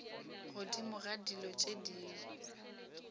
godimo ga dilo tše dingwe